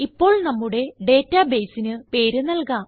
ഇപ്പോൾ നമ്മുടെ ഡാറ്റ baseന് പേര് നല്കാം